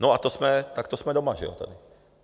No a to jsme, tak to jsme doma, že jo, tady.